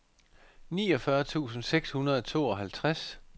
niogfyrre tusind seks hundrede og tooghalvtreds